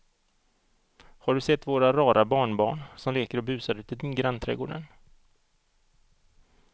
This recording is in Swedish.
Har du sett våra rara barnbarn som leker och busar ute i grannträdgården!